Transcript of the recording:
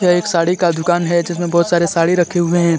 यह एक साड़ी का दुकान है जिसमें बहुत सारे साड़ी रखें हुए हैं।